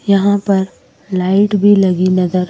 यहां पर लाइट भी लगी नज़र--